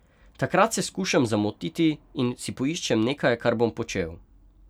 Takrat se skušam zamotiti in si poiščem nekaj, kar bom počel.